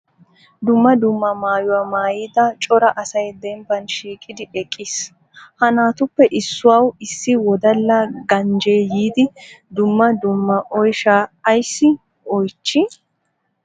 Dumma dumma maayuwa maayida cora asay dembban shiiqidi eqqiis. Ha naatuppe issuwa issi wodala ganjjee yiidi dumma dumma oyshsha ayssi oychchi?